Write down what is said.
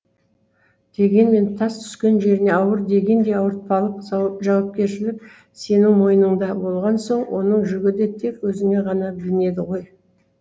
дегенмен тас түскен жеріне ауыр дегендей ауыртпалық жауапкершілік сенің мойныңда болған соң оның жүгі де тек өзіңе ғана білінеді ғой